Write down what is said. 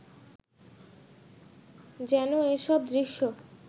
যেন এসব দৃশ্য